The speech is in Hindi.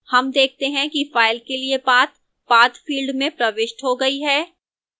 हम देखते हैं कि file के लिए path path field में प्रविष्ट हो गई है